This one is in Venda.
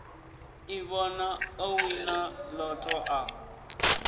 ḓivhona o wina lotto a